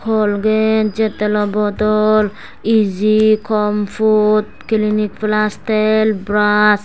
colgate jettelo bodol iji comfort clinic plus tel bras.